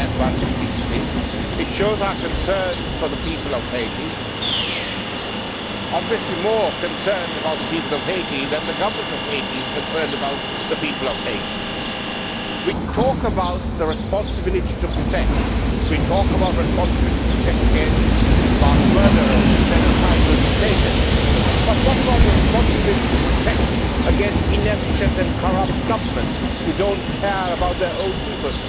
we had one recently. It shows our concern for the people of Haiti we are obviously more concerned about the people of Haiti than the government of Haiti is concerned about the people of Haiti. We talk about the responsibility to protect. We talk about responsibility to protect against mass murderers and genocidal dictators but what about the responsibility to protect against inefficient and corrupt governments who do not care about their own people?